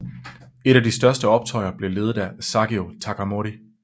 Et af de største optøjer blev ledet af Saigō Takamori